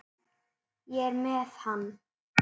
Ég er með hann.